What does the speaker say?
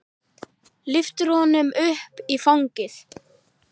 Lyftir honum upp í fangið.